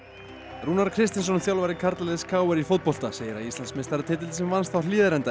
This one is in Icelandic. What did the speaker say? Rúnar Kristinsson þjálfari karlaliðs k r í fótbolta segir að Íslandsmeistaratitillinn sem vannst á Hlíðarenda í